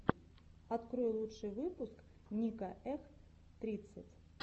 открой лучший выпуск ника эх тридцать